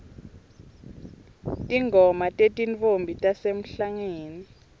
tingoma tetintfombi tasemhlangeni